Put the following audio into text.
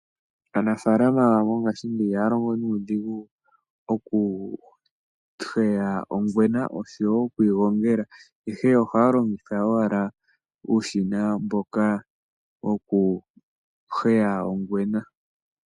Aanafalama mongashingeyi ihaya longo nuudhigu oku heya ongwena oshowo okuyi gongela ihe ohaya longitha owala uushina mboka woku heya ongwena.